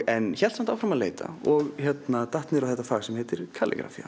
en hélt áfram að leita og datt niður á þetta fag sem heitir